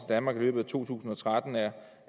danmark i løbet af to tusind og tretten er